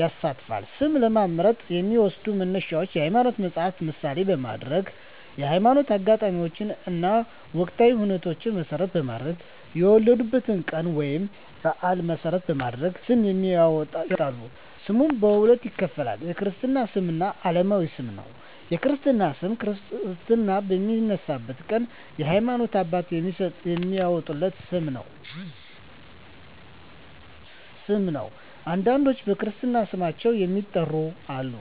ይሳተፋል። ስም ለመምረጥ የሚዎሰዱ መነሻዎች የሀይማኖት መፀሀፍትን ምሳሌ በማድረግ፣ የህይወት አጋጣሚዎችን እና ወቅታዊ ሁኔታዎችን መሰረት በማድረግ፣ የወለዱበትን ቀን ወይንም በአል መሰረት በማድረግ ስም ያወጣሉ። ስምንም በሁለት ይከፈላል። የክርስትና ስም እና አለማዊ ስም ነው። የክርስትና ስም ክርስትና በሚነሳበት ቀን የሀይማኖት አባት የሚያዎጣለት ስም ነው። አንዳንዶች በክርስትና ስማቸው የሚጠሩም አሉ።